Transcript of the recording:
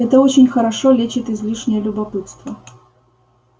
это очень хорошо лечит излишнее любопытство